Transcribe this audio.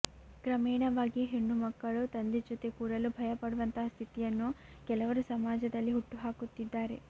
ಕ್ರಮೇಣವಾಗಿ ಹೆಣ್ಣುಮಕ್ಕಳು ತಂದೆ ಜೊತೆ ಕೂರಲೂ ಭಯ ಪಡುವಂತಹ ಸ್ಥಿತಿಯನ್ನು ಕೆಲವರು ಸಮಾಜದಲ್ಲಿ ಹುಟ್ಟುಹಾಕುತ್ತಿದ್ದಾರೆ